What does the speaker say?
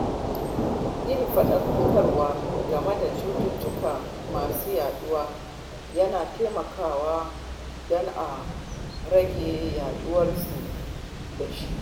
Yin faɗakarwa game da cututtuka masu yaɗuwa yana taimakawa don a rage yawaitar kamuwa da su.